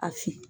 A fin